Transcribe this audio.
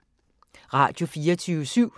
Radio24syv